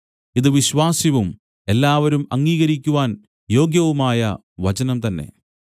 ഇതു വിശ്വാസ്യവും എല്ലാവരും അംഗീകരിക്കുവാൻ യോഗ്യവുമായ വചനം തന്നെ